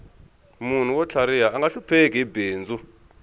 munhu wo tlhariha anga hlupheki hi bindzu